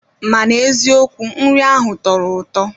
Mana eziokwu nri ahụ tọrọ ụtọ